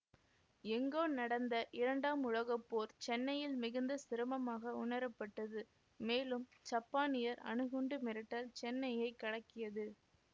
எங்கோ நடந்த இரண்டாம் உலக போர் சென்னையில் மிகுந்த சிரமமாக உணரப்பட்டது மேலும் சப்பானியர் அணுகுண்டு மிரட்டல் சென்னையைக் கலக்கியது